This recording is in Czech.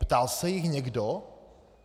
Ptal se jich někdo?